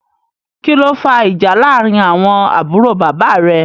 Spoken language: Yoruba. Kìlọ fà ìjà làrin àwọn àbúrò bàbá rè?